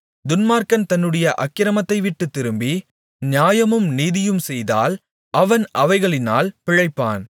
துன்மார்க்கன் தன்னுடைய அக்கிரமத்தைவிட்டுத் திரும்பி நியாயமும் நீதியும் செய்தால் அவன் அவைகளினால் பிழைப்பான்